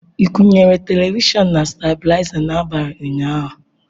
Ị kwụnyere televishọn na stablizer n'abalị ụnyaahụ?